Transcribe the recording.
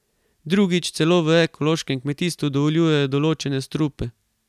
Drugič, celo v ekološkem kmetijstvu dovoljujejo določene strupe.